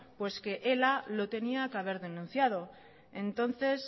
pues que ela lo tenía que haber denunciado entonces